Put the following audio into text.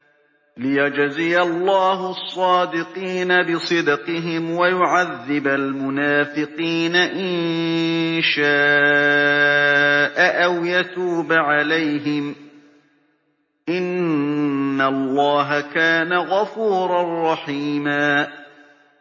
لِّيَجْزِيَ اللَّهُ الصَّادِقِينَ بِصِدْقِهِمْ وَيُعَذِّبَ الْمُنَافِقِينَ إِن شَاءَ أَوْ يَتُوبَ عَلَيْهِمْ ۚ إِنَّ اللَّهَ كَانَ غَفُورًا رَّحِيمًا